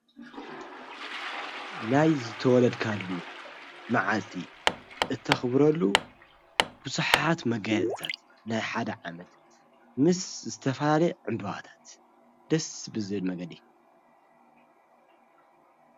ናይ ዘተወለድካሉ መዓልቲ እተኽብረሉ ብዙሐት መጋየፅታት ናይ ሓድ ዓመት ምስ ዝተፈላለየ ዕምብዋታት ደስ ብዘብል መንገዲ።